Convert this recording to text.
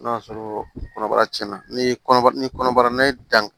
N'o y'a sɔrɔ kɔnɔbara cɛnna ni kɔnɔbara ni kɔnɔbara n'a ye danni